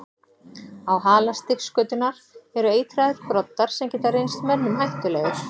Á hala stingskötunnar eru eitraðir broddar sem geta reynst mönnum hættulegir.